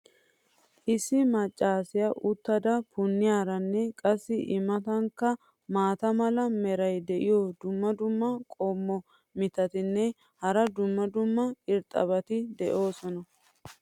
issi maccaassiya uttada punniyaaranne qassi i matankka maata mala meray diyo dumma dumma qommo mitattinne hara dumma dumma irxxabati de'oosona.